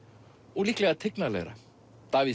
og líklega tignarlega Davíð